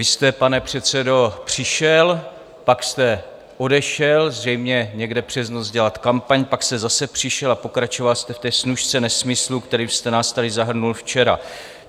Vy jste, pane předsedo, přišel, pak jste odešel zřejmě někde přes noc dělat kampaň, pak jste zase přišel a pokračoval jste v té snůšce nesmyslů, kterými jste nás tady zahrnul včera.